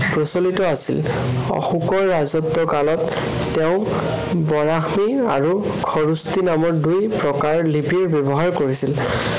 প্ৰচলিত আছিল। অশোকৰ ৰাজত্বৰ কালত তেওঁ বৰাশ্ৰী আৰু সৰুশ্ৰী নামৰ দুই প্ৰকাৰ লিপি ব্য়ৱহাৰ কৰিছিল।